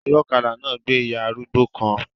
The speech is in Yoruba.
Ọlọ́kadà náà gbé ìyá arúgbó kan